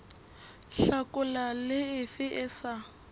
hlakola le efe e sa